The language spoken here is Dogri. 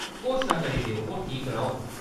घोशना करी देओ, ओह् ठीक रौह्ग।